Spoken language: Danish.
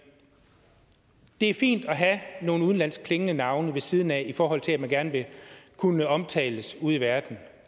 er fint at have nogle udenlandsk klingende navne ved siden af i forhold til at man gerne vil kunne omtales ude i verden